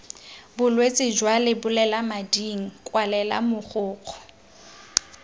bolwetse jwa lebolelamading kwalela mogokgo